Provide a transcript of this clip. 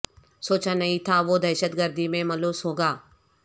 سوچا نہیں تھا وہ دہشت گردی میں ملوث ہوگا